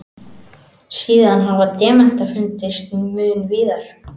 Síðan hafa demantar fundist mun víðar.